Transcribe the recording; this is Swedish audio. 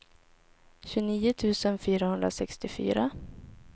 tjugonio tusen fyrahundrasextiofyra